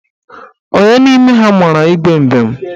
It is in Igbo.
Onye n'ime ha mara Igwe mbem?